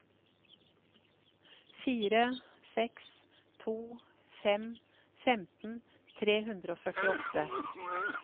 fire seks to fem femten tre hundre og førtiåtte